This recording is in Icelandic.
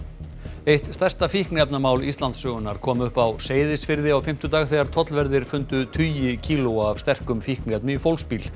eitt stærsta fíkniefnamál Íslandssögunnar kom upp á Seyðisfirði á fimmtudag þegar tollverðir fundu tugi kílóa af sterkum fíkniefnum í fólksbíl